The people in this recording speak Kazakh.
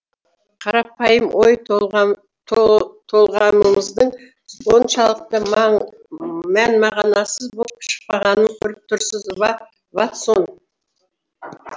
қарапайым ой толғамымыздың оншалықты мән мағынасыз боп шықпағанын көріп тұрсыз ба ватсон